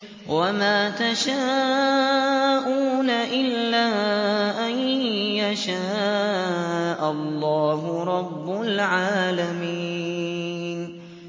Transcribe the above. وَمَا تَشَاءُونَ إِلَّا أَن يَشَاءَ اللَّهُ رَبُّ الْعَالَمِينَ